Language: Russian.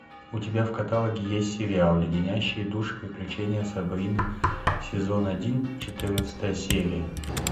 у тебя в каталоге есть сериал леденящие душу приключения сабрины сезон один четырнадцатая серия